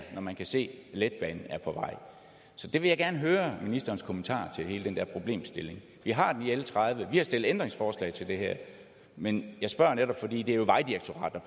når man kan se at letbanen er på vej så jeg vil gerne høre ministerens kommentar til hele den der problemstilling vi har den i l tredive og vi har stillet ændringsforslag til det her men jeg spørger netop fordi det jo er vejdirektoratet